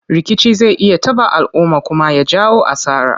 Rikici zai iya taɓa alumma kuma ya jawo asara.